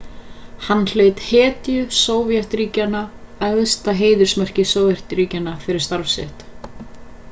hann hlaut hetju sovétríkjanna æðsta heiðursmerki sovétríkjanna fyrir starf sitt